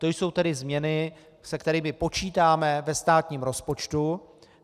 To jsou tedy změny, se kterými počítáme ve státním rozpočtu.